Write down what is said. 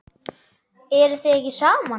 Eruð þið ekki saman?